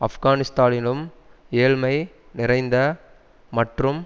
ஆப்கானிஸ்தானிலும் ஏழ்மை நிறைந்த மற்றும்